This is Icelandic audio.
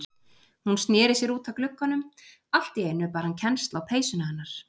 Hún sneri sér út að glugganum, allt í einu bar hann kennsl á peysuna hennar.